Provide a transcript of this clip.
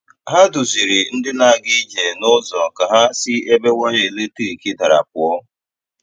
Hà duzìrì̀ ndị na-aga ije n’ụzọ ka hà si ebe waya eletrik darà pụọ̀.